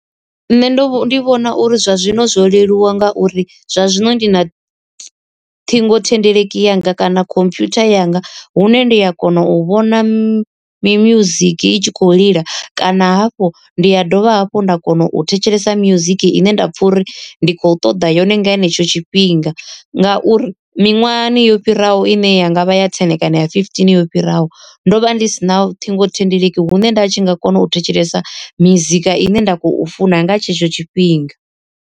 Nṋe ndo ndi vhona uri zwa zwino zwo leluwa nga uri zwa zwino ndi na ṱhingothendeleki yanga kana computer yanga hune ndi a kona u vhona mi music i tshi khou lila kana hafhu ndi ya dovha hafhu nda kona u thetshelesa music ine nda pfha uri ndi kho ṱoḓa yone nga henetsho tshifhinga. Ngauri miṅwahani yo fhiraho ine ya ngavha ya ten kana ya fifteen yo fhiraho, ndo vha ndi si na ṱhingothendeleki hune nda tshi nga kona u thetshelesa mizika ine nda khou funa nga tshetsho tshifhinga.